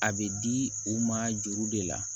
A bɛ di u ma juru de la